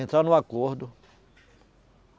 Entraram no acordo.